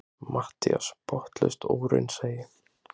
MATTHÍAS: Botnlaust óraunsæi!